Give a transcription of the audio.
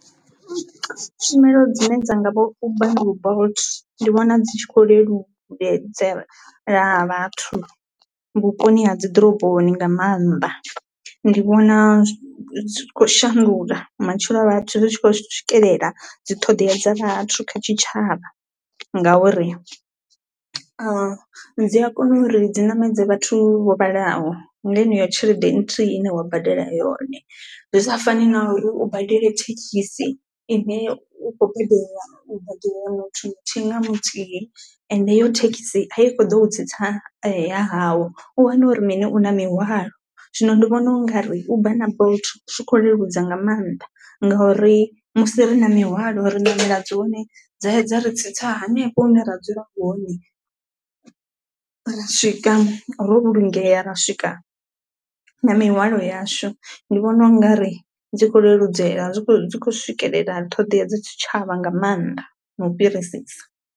Tshumelo dzine dza nga vho Uber na vho Bolt ndi vhona dzi tshi kho leludzela vhathu vhuponi ha dziḓoroboni nga maanḓa, ndi vhona dzi kho shandula matshilo a vhathu ri tshi khou swikelela dzi ṱhoḓea dza vhathu kha tshitshavha ngauri a dzi a kona uri dzi ṋamedza vhathu vho vhalaho nga yeneyo tshelede nthihi ine wa badela yone. Zwi sa fani na uri u badele thekhisi ine u kho badelwa muthu muthihi nga muthihi ende heyo thekhisi a i kho ḓou tsitsa ya hawo. U wana uri mini u na mihwalo zwino ndi vhona u nga ri Uber na Bolt zwi kho leludza nga maanḓa ngauri musi ri na mihwalo ri ṋamela dzone dza ya dza ri tsitsa hanefho hune ra dzula hone ra swika ro vhulungea ra swika na mihwalo yashu, ndi vhona u nga ri dzi kho leludzela zwi khou dzi khou swikelela ṱhodea dza tshitshavha nga maanḓa na u fhirisisa.